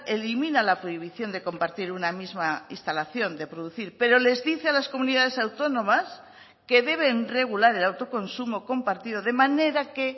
elimina la prohibición de compartir una misma instalación de producir pero les dice a las comunidades autónomas que deben regular el autoconsumo compartido de manera que